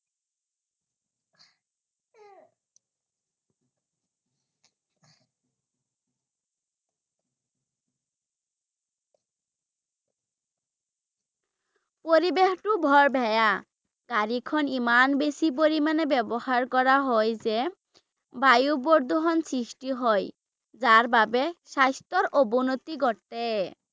পৰিৱেশটো বৰ বেয়া ৷ গাড়ীখন ইমান বেছি পৰিমাণে ব্যৱহাৰ কৰা হয় যে, বায়ু প্ৰদূষণ সৃষ্টি হয় ৷ যাৰ বাবে স্বাস্থ্যৰ অৱনতি ঘটে ৷